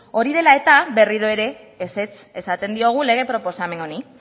hori dela eta berriro ere ezetz esaten diogu lege proposamen honi